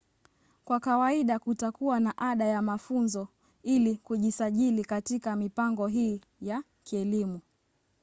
kwa kawaida kutakuwa na ada ya mafunzo ili kujisajili katika mipango hii ya kielimu